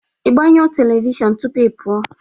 Ị gbanyụọ telivishọn tupu ị pụọ?